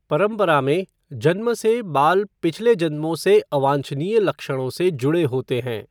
परंपरा में, जन्म से बाल पिछले जन्मों से अवांछनीय लक्षणों से जुड़े होते हैं।